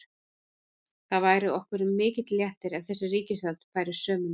Það væri okkur mikill léttir ef þessi ríkisstjórn færi sömu leið.